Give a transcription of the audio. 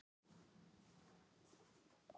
Birta, hringdu í Hólmdísi eftir áttatíu mínútur.